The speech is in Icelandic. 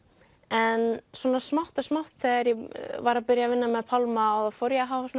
en svona smátt og smátt þegar ég var að byrja að vinna með Pálma þá fór ég að hafa